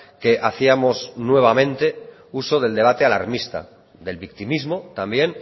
que hacíamos nuevamente uso del debate alarmista del victimismo también